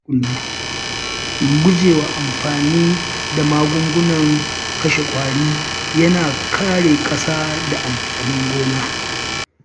Gujewa amfani da magungunan kashe ƙwari yana kare ƙasa da amfanin gona.